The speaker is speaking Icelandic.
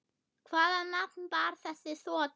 Hvaða nafn bar þessi þota?